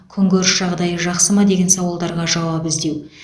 күнкөріс жағдайы жақсы ма деген сауалдарға жауап іздеу